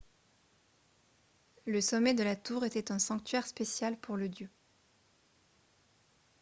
le sommet de la tour était un sanctuaire spécial pour le dieu